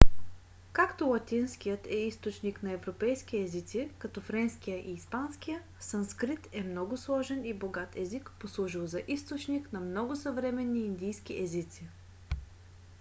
както латинският е източник на европейски езици като френския и испанския санскрит е много сложен и богат език послужил за източник на много съвременни индийски езици